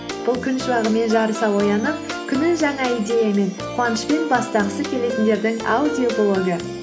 бұл күн шуағымен жарыса оянып күнін жаңа идеямен қуанышпен бастағысы келетіндердің аудиоблогы